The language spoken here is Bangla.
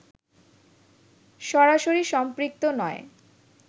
সরাসরিসম্পৃক্ত নয়